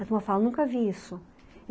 As falam, nunca vi isso.